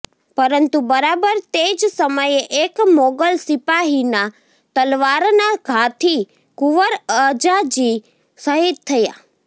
પરંતુ બરાબર તે જ સમયે એક મોગલ સિપાહીના તલવારના ઘાથી કુંવર અજાજી શહીદ થયા